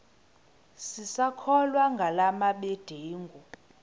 sisakholwa ngala mabedengu